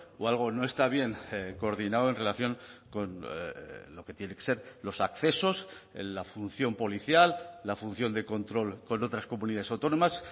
o algo no está bien coordinado en relación con lo que tiene que ser los accesos en la función policial la función de control con otras comunidades autónomas